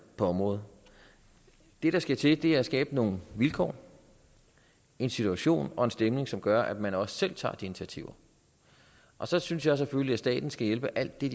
på området det der skal til er at skabe nogle vilkår en situation og en stemning som gør at man også selv tager de initiativer og så synes jeg selvfølgelig at staten skal hjælpe alt det